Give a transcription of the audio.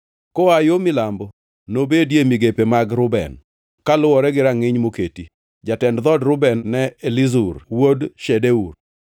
Koa yo milambo nobedie migepe mag Reuben kaluwore gi rangʼiny moketi. Jatend dhood Reuben ne en Elizur wuod Shedeur.